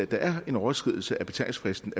der er en overskridelse af betalingsfristen